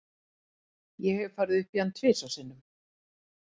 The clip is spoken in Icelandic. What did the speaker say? Ég hef farið upp í hann tvisvar sinnum.